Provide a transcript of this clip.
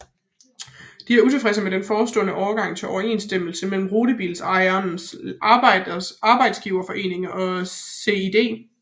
De er utilfredse med den forestående overgang til overenskomsten mellem Rutebilejernes Arbejdsgiverforening og SiD